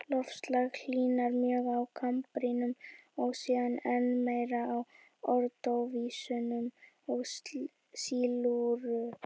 Loftslag hlýnaði mjög á kambríum og síðan enn meir á ordóvísíum og sílúr.